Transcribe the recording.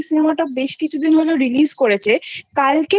Cinemaটা বেশ কিছুদিন হলো Releaseকরেছে কালকে